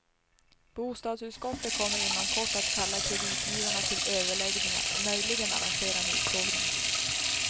Bostadsutskottet kommer inom kort att kalla kreditgivarna till överläggningar och möjligen arrangera en utfrågning.